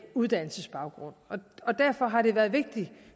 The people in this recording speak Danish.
uddannelsesbaggrund og derfor har det været vigtigt